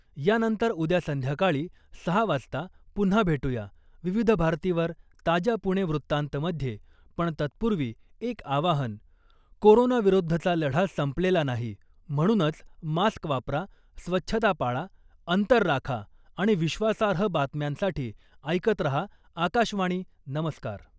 यानंतर उद्या संध्याकाळी सहा वाजता पुन्हा भेटूया , विविध भारतीवर , ताज्या ' पुणे वृत्तांत'मध्ये , पण तत्पूर्वी एक आवाहन, कोरोना विरुद्धचा लढा संपलेला नाही, म्हणूनच मास्क वापरा , स्वच्छता पाळा , अंतर राखा आणि विश्वासार्ह बातम्यांसाठी ऐकत रहा , आकाशवाणी , नमस्कार .